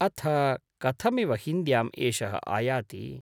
अथ कथमिव हिन्द्यां एषः आयाति ?